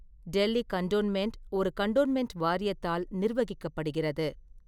Delhi cantonment ஒரு cantonment வாரியத்தால் நிர்வகிக்கப்படுகிறது.